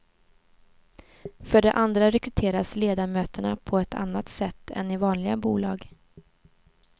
För det andra rekryteras ledamöterna på ett annat sätt än i vanliga bolag.